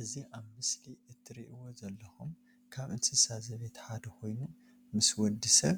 እዚ ኣብ ምስሊ ትርእይዎ ዘለኩም ካብ እንስሳ ዘቤት ሓደ ኮይኑ ምስ ወዲ ሰብ